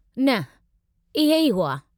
न, इहे ई हुआ।